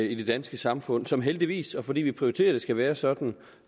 i det danske samfund som heldigvis og fordi vi prioriterer at det skal være sådan